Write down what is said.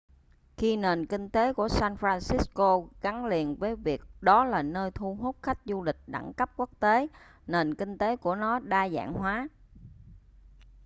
khi nền kinh tế của san francisco gắn liền với việc đó là nơi thu hút khách du lịch đẳng cấp quốc tế nền kinh tế của nó đa dạng hóa